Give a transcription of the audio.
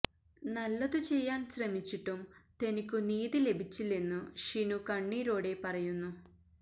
നല്ലതു ചെയ്യാൻ ശ്രമിച്ചിട്ടും തനിക്കു നീതി ലഭിച്ചില്ലെന്നു ഷിനു കണ്ണീരോടെ പറയുന്നു